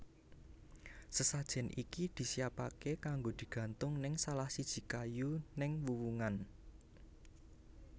Sesajen iki disiapake kanggo digantung neng salahsiji kayu neng wuwungan